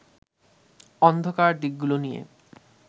অন্ধকার দিকগুলো নিয়ে